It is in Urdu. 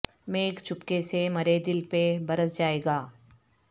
میگھ چپکے سے مرے دل پہ برس جائے گا